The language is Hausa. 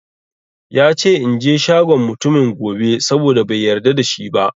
Yace inje shagon mutumin gobe, saboda bai yarda da shi ba